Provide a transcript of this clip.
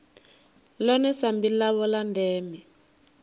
ḽone sambi ḽavho ḽa ndeme